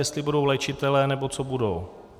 Jestli budou léčitelé, nebo co budou?